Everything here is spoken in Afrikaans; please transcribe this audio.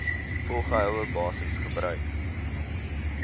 volgehoue basis gebruik